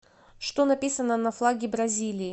что написано на флаге бразилии